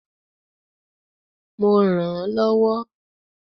Mo rànán lọ́wọ́.